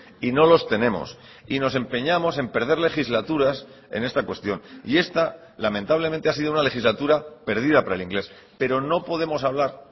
y no los tenemos y nos empeñamos en perder legislaturas en esta cuestión y esta lamentablemente ha sido una legislatura perdida para el inglés pero no podemos hablar